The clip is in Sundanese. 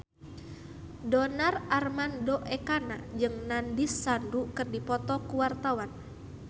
Donar Armando Ekana jeung Nandish Sandhu keur dipoto ku wartawan